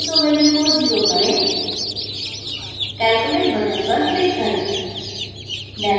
iso value को 0 करें calculate button पर click करें